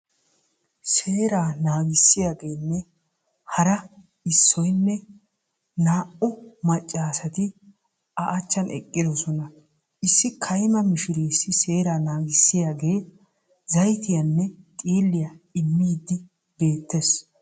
Seera naagisiyanne hara issoynne a mnata eqqidosonna issi kaymma mishireessi zayttiyanne xiilliya immiddi beetes.